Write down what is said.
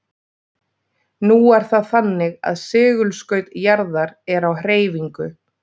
nú er það þannig að segulskaut jarðar er á hreyfingu